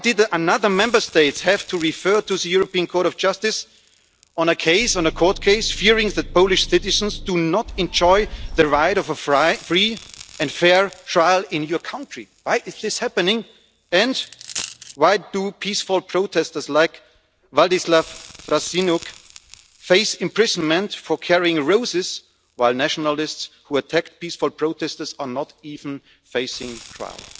Why did another Member State have to refer to the European Court of Justice on a court case, fearing that Polish citizens do not enjoy the right to a free and fair trial in your country? Why is this happening and why do peaceful protesters, like Władysław Frasyniuk, face imprisonment for carrying roses, while nationalists who attack peaceful protesters are not even facing trial?